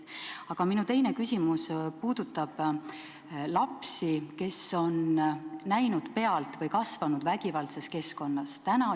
Aga minu teine küsimus puudutab lapsi, kes on kasvanud vägivaldses keskkonnas, kes on vägivalda pealt näinud.